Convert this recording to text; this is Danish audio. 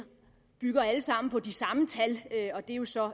bygger alle sammen på de samme tal og det er jo så